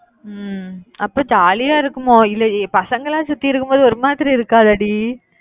உம் அப்ப ஜாலியா இருக்குமோ? இல்லையே பசங்கள்லாம் சுத்தி இருக்கும்போது ஒரு மாதிரி இருக்காதாடி?